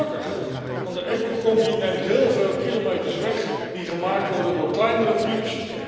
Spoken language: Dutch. Gelukkig, want de Ecocombi neemt heel veel kilometers weg die gemaakt worden door kleinere trucks.